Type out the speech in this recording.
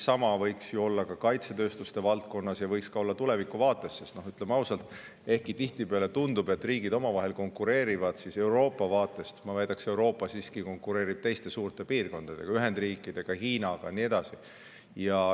Samamoodi võiks ju olla ka kaitsetööstuse valdkonnas ja tulevikuvaates, sest ütleme ausalt, et ehkki tihtipeale tundub, et riigid omavahel konkureerivad, ma väidaksin, et Euroopa siiski konkureerib teiste suurte: Ühendriikide, Hiinaga ja nii edasi.